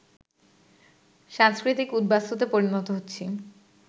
সাংস্কৃতিক উদ্বাস্তুতে পরিণত হচ্ছি